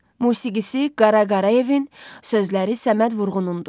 Musiqisi Qara Qarayevin, sözləri Səməd Vurğunundur.